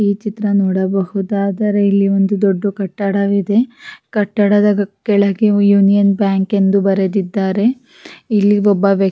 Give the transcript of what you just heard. ಈ ಚಿತ್ರ ನೋಡಬಹುದಾದರೆ ಇಲ್ಲಿ ಒಂದು ದೊಡ್ಡು ಕಟ್ಟಡವಿದೆ ಕಟ್ಟಡದ ಕೆಳಗೆ ಯೂನಿಯನ್ ಬ್ಯಾಂಕ್ ಎಂದು ಬರೆದಿದ್ದಾರೆ ಇಲ್ಲಿ ಒಬ್ಬ ವ್ಯ--